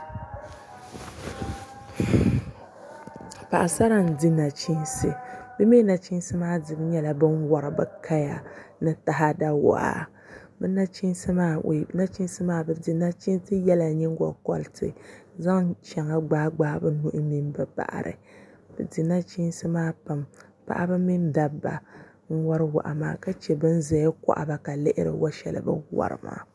Paɣasara n di nachiinsi bi mii nachiinsi maa dibu nyɛla bi ni wuhuri bi kaya ni taada niɛma bi di nachiinsi yɛla nyingokoriti ka zaŋ bin shɛŋa gbaai gbaai bi nuhi mini bi baɣari bi di nachiinsi maa pam paɣaba mini dabba n wori waa maa ka chɛ bin ʒɛya baɣaba ka lihiri bi ni wori wo shɛli maa